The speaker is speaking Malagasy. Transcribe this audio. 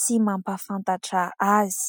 sy mampahafantatra azy.